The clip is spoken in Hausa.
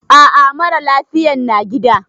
A a, mara lafiyan na gida.